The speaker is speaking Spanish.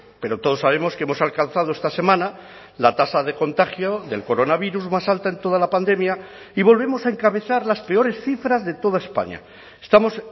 pero todos sabemos que hemos alcanzado esta semana la tasa de contagio del coronavirus más alta en toda la pandemia y volvemos a encabezar las peores cifras de toda españa estamos